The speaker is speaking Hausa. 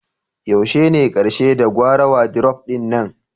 Yaushe ne karshe da gyara wadiruf ɗin nan?